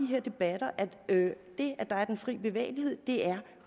her debatter at det at der er den fri bevægelighed er